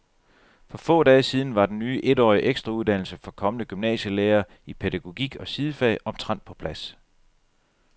For få dage siden var den ny etårige ekstrauddannelse for kommende gymnasielærere i pædagogik og sidefag omtrent på plads.